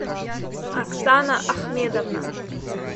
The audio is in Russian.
оксана ахмедовна